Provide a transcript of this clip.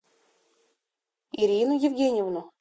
ирину евгеньевну